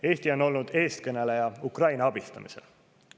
Eesti on olnud eestkõneleja Ukraina abistamisel.